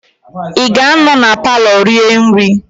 Ị ga-anọ na palọ rie nri?